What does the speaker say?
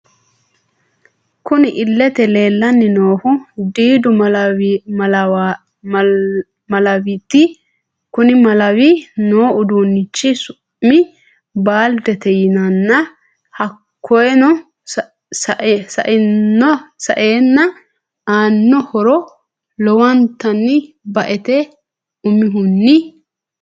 Kunni illete leelani noohu diiddu malawiti kunni Malawi noo uduunichi su'mi baalidete yinanni hakiino sa'eena aano horro lowonitanni ba'ete umihuni...